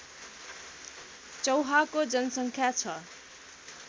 चौहाको जनसङ्ख्या छ